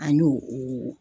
An y'o o.